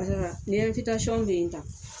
ni bɛ yen tan